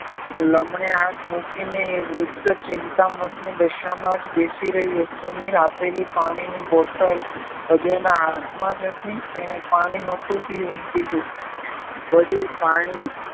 લમણે હાથ મૂકીને એ વૃદ્ધ ચિંતામગ્ન દશામાં જ બેસી રહ્યો સમીરે આપેલ પાણી ની બોટલ હજુ એના હાથમાં જ હતી એને પાણી નોતું પીધું વડીલ પાણી